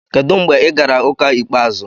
Kedu mgbe ị gara ụka ikpeazụ?